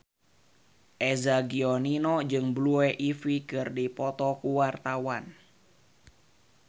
Eza Gionino jeung Blue Ivy keur dipoto ku wartawan